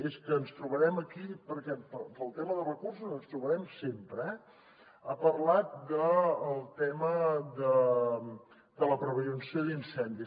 és que ens trobarem aquí perquè pel tema de recursos ens trobarem sempre eh ha parlat del tema de la prevenció d’incendis